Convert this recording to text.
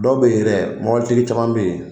Dɔw be yɛrɛ caman bɛ yen.